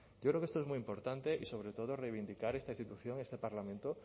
yo creo que esto es muy importante y sobre todo reivindicar esta institución este parlamento